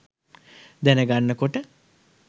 දැන ගන්න කොට